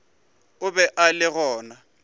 o be a le gona